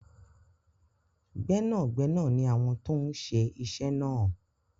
Gbẹ́nàgbẹnà ni àwọn tó ń se isẹ́ náà.